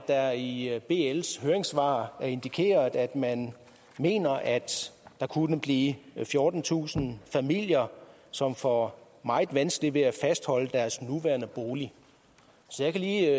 er i i bls høringssvar indikeret at man mener at der kunne blive fjortentusind familier som får meget vanskeligt ved at fastholde deres nuværende bolig så jeg kan lige